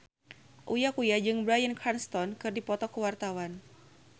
Uya Kuya jeung Bryan Cranston keur dipoto ku wartawan